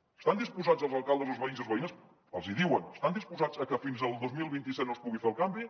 hi estan disposats els alcaldes els veïns i les veïnes els hi diuen estan disposats a que fins al dos mil vint set no es pugui fer el canvi